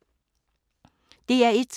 DR1